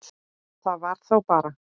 Það var þá bara